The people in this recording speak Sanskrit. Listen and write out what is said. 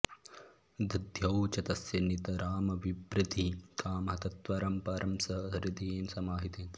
दध्यौ च तस्य नितरामभिवृद्धिकामः तत्त्वं परं स हृदयेन समाहितेन